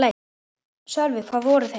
Sölvi: Hvar voru þeir?